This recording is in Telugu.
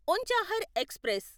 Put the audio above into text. ఉంచాహర్ ఎక్స్ప్రెస్